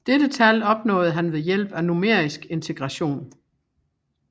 Dette tal opnåede han ved hjælp af numerisk integration